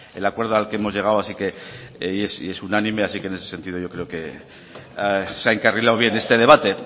el acuerdo al que hemos llegado así que y es unánime así que en ese sentido yo creo que se ha encarrilado bien este debate